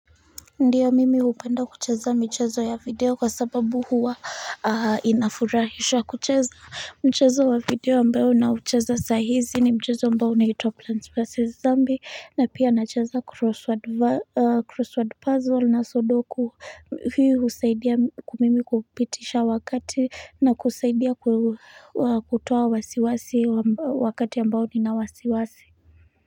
Ndio mimi hupenda kucheza michezo ya video kwa sababu huwa inafurahisha kucheza mchezo wa video ambayo naucheza saa hizi ni mchezo ambayo na ito plans vs zombie na pia anacheza crossword crossword puzzle na sodoku hii husaidia ku mimi kupitisha wakati na kusaidia kutoa wasiwasi wakati ambayo nina wasiwasi.